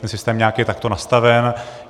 Ten systém nějak je takto nastaven.